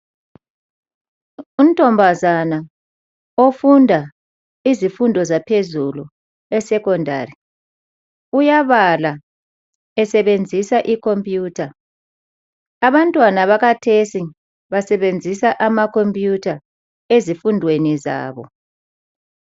Untombazana ofunda izifundo zaphezulu esecondary uyabala esebenzisa ikhompuyutha. Abantwana bakhathesi basebenzisa amakhompuyutha ezifundweni zabo.